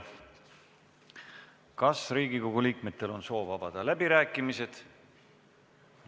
Kas Riigikogu liikmetel on soovi avada läbirääkimised?